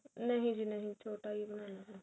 ਨਹੀਂ ਜੀ ਨਹੀਂ ਛੋਟਾ ਹੀ ਬਣਾਨਾ